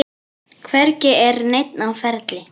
Hvergi er neinn á ferli.